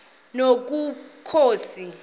nobukhosi